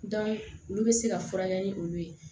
olu bɛ se ka furakɛ ni olu ye